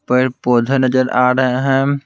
पेड़ पौधे नजर आ रहे हैं।